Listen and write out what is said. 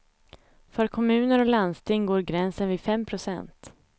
För kommuner och landsting går gränsen vid fem procent.